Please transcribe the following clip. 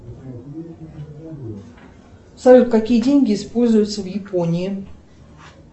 салют какие деньги используются в японии